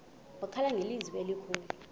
wakhala ngelizwi elikhulu